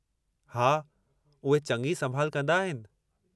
हा, उहे चङी संभाल कंदा आहिनि।